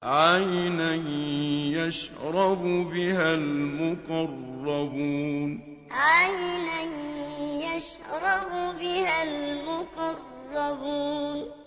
عَيْنًا يَشْرَبُ بِهَا الْمُقَرَّبُونَ عَيْنًا يَشْرَبُ بِهَا الْمُقَرَّبُونَ